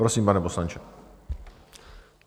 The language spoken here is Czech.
Prosím, pane poslanče.